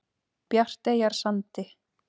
Bjarteyjarsandi